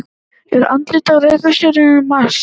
Er andlit á reikistjörnunni Mars?